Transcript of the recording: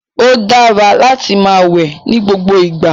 O dara láti máa wẹ nigbogbo igba